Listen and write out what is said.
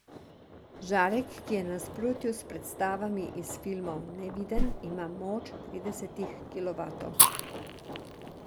Žarek, ki je v nasprotju s predstavami iz filmov neviden, ima moč tridesetih kilovatov.